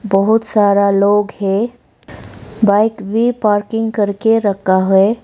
बहोत सारा लोग हैं बाइक भी पार्किंग करके रखा है।